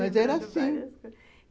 Mas era assim.